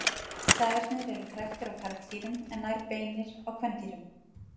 Stafirnir eru kræktir á karldýrum en nær beinir á kvendýrum.